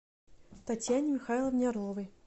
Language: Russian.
татьяне михайловне орловой